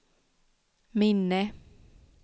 minne